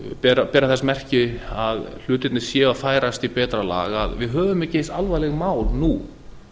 bera þess merki að hlutirnir séu að færast í betra lag að við höfum ekki eins alvarleg mál nú